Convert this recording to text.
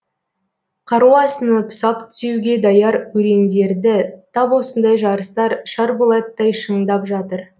қару асынып сап түзеуге даяр өрендерді тап осындай жарыстар шарболаттай шыңдап жатыр